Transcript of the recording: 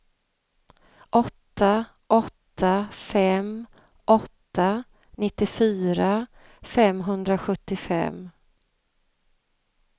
åtta åtta fem åtta nittiofyra femhundrasjuttiofem